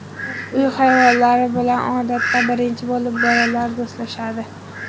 Uy hayvonlari bilan odatda birinchi bo‘lib bolalar do‘stlashadi.